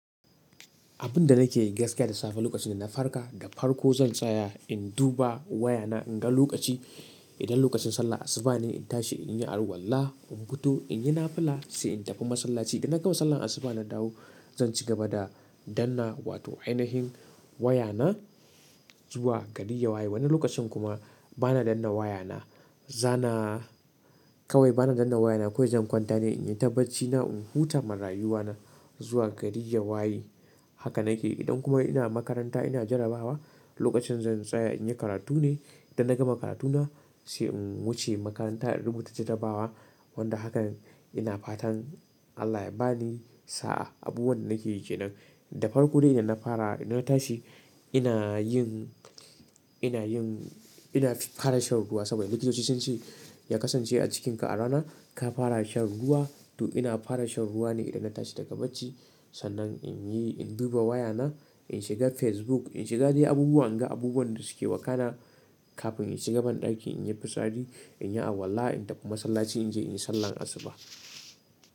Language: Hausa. Abin da nake yi gaskiya da safe lokacin da na farka, da farko zan tsaya in duba wayana in ga lokaci. Idan lokacin sallah asuba ne, in tashi in yi arwala, in fito, in yi nafla sai in tafi masallaci. Idan na gama sallan asuba na dawo zan cigaba da danna wato ainihin wayana zuwa gari ya waye. Wani lokacin kuma bana danna wayana. Zana kawai bana danna wayana kawai zan kwanta ne, in yi tabbaci na, in huta marayuwa na zuwa gari ya waye. Haka nake yi. Idan kuma ina makaranta ina jarabawa lokacin zan tsaya in yi karatu ne. Idan na gama karatuna sai in wuce makaranta in rubuta jarabawa. Wanda hakan ina fatan Allah ya ba ni sa'a. Abubuwan da nake yi kenan. Da farko dai idan na fara ina tashi ina yin, ina yin, ina fara shan ruwa saboda likitoci sun ce ya kasance a cikinka rana ka fara shan ruwa. To ina fara shan ruwa ne idan na tashi daga bacci. Sannan in yi, in duba wayana, in shiga Facebook, in shiga dai abubuwa, in ga abubuwan da suke wakana kafin in shiga mun dakin, in yi fissari, in yi arwala, in tafi massalaci in je in yi sallan asuba.